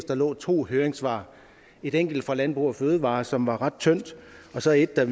der lå to høringssvar et enkelt fra landbrug fødevarer som var ret tyndt og så et der